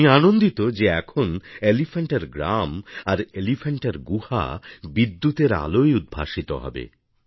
আমি আনন্দিত যে এখন এলিফ্যান্টার গ্রাম আর এলিফ্যান্টার গুহা বিদ্যুতের আলোয় উদ্ভাসিত হবে